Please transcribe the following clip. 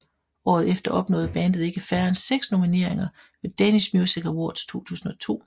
Året efter opnåede bandet ikke færre end seks nomineringer ved Danish Music Awards 2002